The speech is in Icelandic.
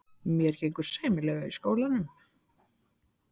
Mér gengur sæmilega í skólanum.